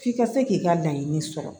F'i ka se k'i ka laɲini sɔrɔ